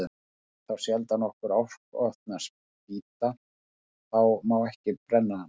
Nei, þá sjaldan okkur áskotnast spýta, þá má ekki brenna hana.